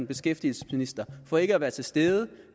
beskæftigelsesminister for ikke at være til stede